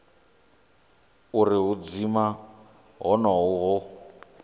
uri u dzima honoho hu